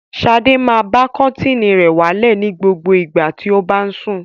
Sadé máa ba kọ́tíínì rẹ̀ wálẹ̀ ní gbogbo ìgbà tí ó bá ń sùn.